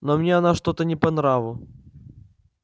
но мне она что-то не по нраву